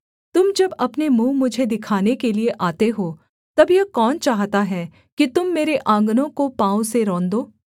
तुम जब अपने मुँह मुझे दिखाने के लिये आते हो तब यह कौन चाहता है कि तुम मेरे आँगनों को पाँव से रौंदो